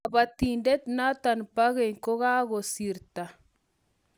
Lapatindet notok pa keny kokakosorta